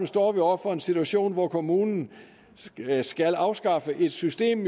står vi over for en situation hvor kommunen jo skal afskaffe et system